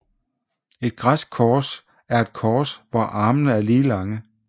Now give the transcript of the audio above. Et græsk kors er et kors hvor armene er lige lange